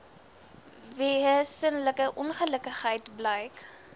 wesenlike ongelukkigheid blyk